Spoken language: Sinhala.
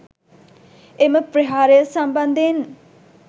එම ප්‍රහාරය සම්බන්ධයෙන්